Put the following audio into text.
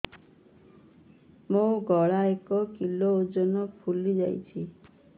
ମୋ ଗଳା ଏକ କିଲୋ ଓଜନ ଫୁଲି ଯାଉଛି